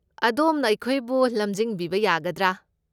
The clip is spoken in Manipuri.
ꯑꯗꯣꯝꯅ ꯑꯩꯈꯣꯏꯕꯨ ꯂꯝꯖꯤꯡꯕꯤꯕ ꯌꯥꯒꯗ꯭ꯔꯥ?